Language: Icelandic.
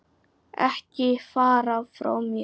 Ekki fara frá mér!